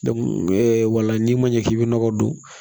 wala n'i ma ɲɛ k'i bɛ nɔgɔ don